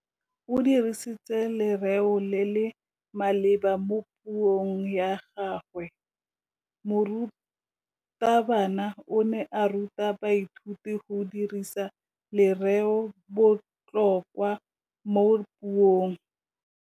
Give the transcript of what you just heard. O dirisitse lerêo le le maleba mo puông ya gagwe. Morutabana o ne a ruta baithuti go dirisa lêrêôbotlhôkwa mo puong.